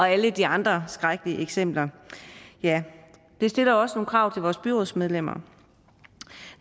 alle de andre skrækkelige eksempler det stiller også nogle krav til vores byrådsmedlemmer